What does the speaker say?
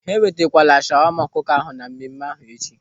Ha enwetakwala shawama ọkụkọ na mmemme ahụ echi.